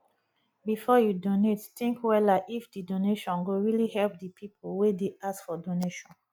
before you donate think wella if di donation go really help di pipo wey dey ask for donation